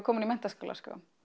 komin í menntaskóla